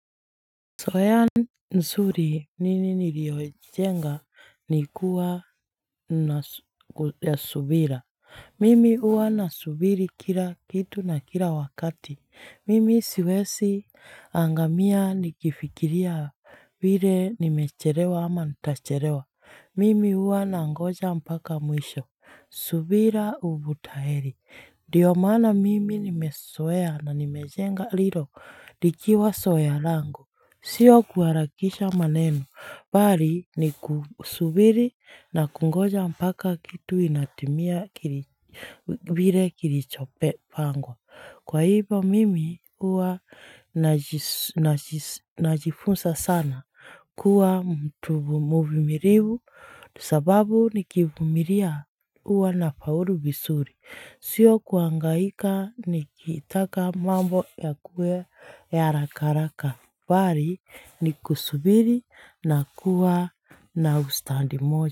Soean nsuri nini niliyojenga nikuwa na subira. Mimi huwa na subiri kila kitu na kila wakati. Mimi siwesi angamia nikifikiria vile nimechelewa ama ntachelewa. Mimi huwa nangoja mpaka mwisho. Subira uvuta heli. Ndiyo maana mimi nimesoea na nimejenga rilo likiwa soea langu. Sio kuharakisha maneno, bali ni kusubiri na kungoja mpaka kitu inatimia kili vile kilichopangwa kwa hivyo mimi huwa najis najifunsa sana kuwa mtu vumu mvumirivu, sababu nikivumilia huwa na faulu vizuri sio kuangaika nikitaka mambo ya kuwe ya haraka haraka bari ni kusubiri na kuwa na ustandi moja.